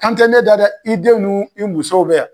Kan tɛ ne da dɛ, i den nuu i musow bɛ yan.